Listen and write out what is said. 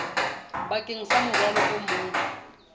bakeng sa morwalo o mong